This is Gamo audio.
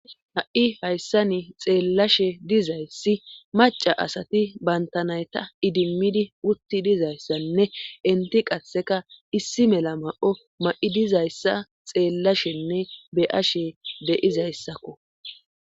Ha'i hayssa ni xeellashe dizayssi maca asati bantanayta idimmidi wutti dizayssanne inti qasheka issi mela ma'o ma'i dizayssa xeellashenne be'ashe deizayssakko